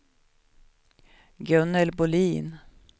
Gunnel Bohlin